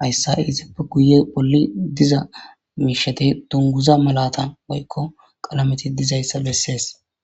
hayssa ezipe bolli diza miisheti dunguza malata woykko qalameti dizaysa besees